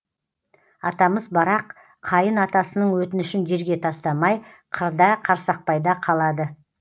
атамыз барақ қайын атасының өтінішін жерге тастамай қырда қарсақпайда қалады